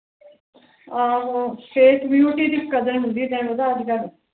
ਆਹੋ ਤੈਨੂੰ ਪਤਾ ਅੱਜ ਕੱਲ